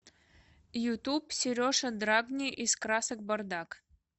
ютуб сережа драгни из красок бардак